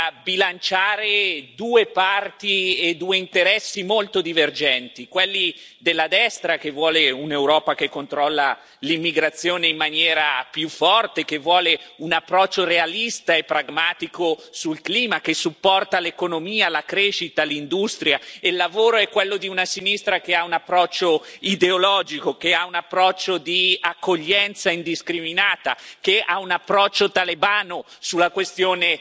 Dovrà bilanciare due parti e due interessi molto divergenti, quelli della destra che vuole un'Europa che controlla l'immigrazione in maniera più forte, che vuole un approccio realista e pragmatico sul clima, che supporta l'economia, la crescita, l'industria e il lavoro, e quello di una sinistra che ha un approccio ideologico, che ha un approccio di accoglienza indiscriminata, che ha un approccio talebano sulla questione